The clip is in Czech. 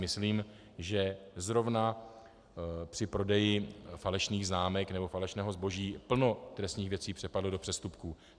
Myslím, že zrovna při prodeji falešných známek nebo falešného zboží plno trestných věcí přepadlo do přestupků.